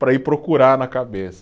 Para ir procurar na cabeça.